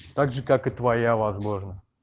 также как и твоя возможно